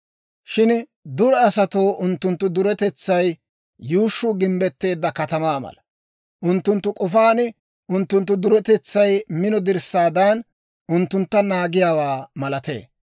Shin dure asatoo unttunttu duretetsay yuushshuu gimbbetteedda katamaa mala; unttunttu k'ofaan unttunttu duretetsay mino dirssaadan unttuntta naagiyaawaa malatee.